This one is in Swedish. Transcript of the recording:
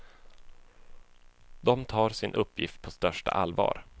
De tar sin uppgift på största allvar.